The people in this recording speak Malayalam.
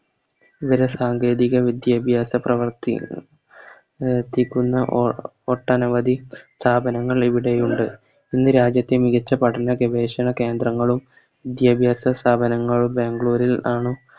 വേറെ സാങ്കേതിക വിദ്യാഭ്യാസ പ്രവർത്തിയുടെ പ്രവർത്തിക്കുന്ന ഓ ഒട്ടനവധി സ്ഥാപനങ്ങൾ ഇവിടെയുണ്ട് ഇന്ന് രാജ്യത്തെ മികച്ച പഠന ഗവേഷണ കേന്ദ്രങ്ങളും വിദ്യാഭ്യാസ സ്ഥാപനങ്ങളും ബാംഗ്ലൂര് ആണ്